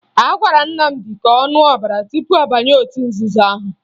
A gwara Nnamdị ka ọ ṅụọ ọbara tupu ọ banye otu nzuzo ahụ